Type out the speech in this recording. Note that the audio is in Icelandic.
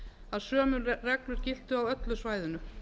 að sömu reglur giltu á öllu svæðinu